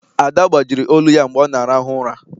Ada gbajiri olu ya mgbe ọ na-arahu ụra.